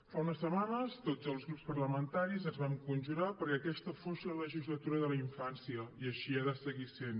fa unes setmanes tots els grups parlamentaris ens vam conjurar perquè aquesta fos la legislatura de la infància i així ha de seguir sent